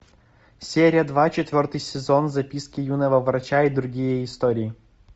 серия два четвертый сезон записки юного врача и другие истории